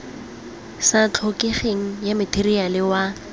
sa tlhokegeng ya matheriale wa